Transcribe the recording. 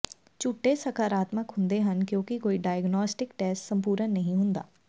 ਝੂਠੇ ਸਕਾਰਾਤਮਕ ਹੁੰਦੇ ਹਨ ਕਿਉਂਕਿ ਕੋਈ ਡਾਇਗਨੌਸਟਿਕ ਟੈਸਟ ਸੰਪੂਰਣ ਨਹੀਂ ਹੁੰਦਾ